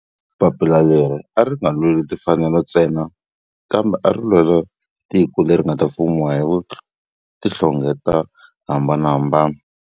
Papila leri a ri nga lweli timfanelo ntsena kambe ari lwela tiko leri nga ta fumiwa hi vanhu va tihlonge to hambanahambana.